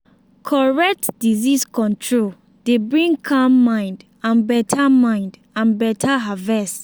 correct disease control dey bring calm mind and better mind and better harvest.